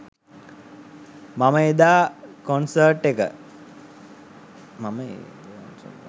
මම එද කොන්සර්ට් එක